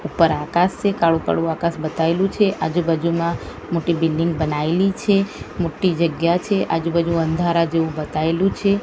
ઉપર આકાસ છે કાળુ કાળુ આકાસ બતાઈલુ છે આજુ બાજુમાં મોટી બિલ્ડીંગ બનાઇલી છે મોટી જગ્યા છે આજુ બાજુ અંધારા જેવુ બતાઈલુ છે.